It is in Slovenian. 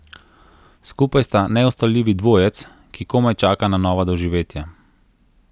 Skupaj sta neustavljivi dvojec, ki komaj čaka na nova doživetja.